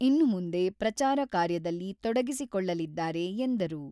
ಇನ್ನು ಮುಂದೆ ಪ್ರಚಾರ ಕಾರ್ಯದಲ್ಲಿ ತೊಡಗಿಸಿಕೊಳ್ಳಲಿದ್ದಾರೆ ಎಂದರು.